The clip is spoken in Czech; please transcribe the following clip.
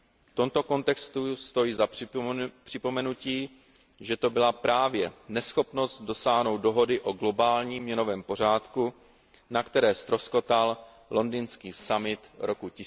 V tomto kontextu stojí za připomenutí, že to byla právě neschopnost dosáhnout dohody o globálním měnovém pořádku, na které ztroskotal londýnský summit roku